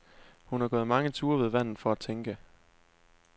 Hun har gået mange ture ved vandet for at tænke.